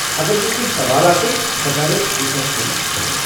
اگر مےٚ کٮ۪نٛہہ سوال آسن ، بہٕ کرٕ رسٮ۪پشنس فون